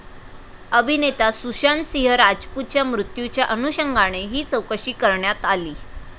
अभिनेता सुशांतसिंह राजपूतच्या मृत्यूच्या अनुषंगाने ही चौकशी करण्यात आली.